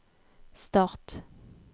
start